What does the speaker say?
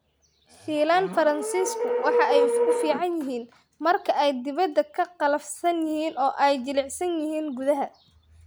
Shiilan faransiisku waxa ay u fiican yihiin marka ay dibadda ka qallafsan yihiin oo ay jilicsan yihiin gudaha.